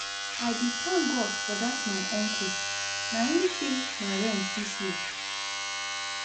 I dey thank God for dat my uncle, na im pay my rent dis year